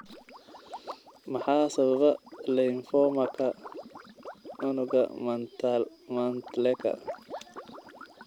Maxaa sababa lymphomaka unugga Mantleka?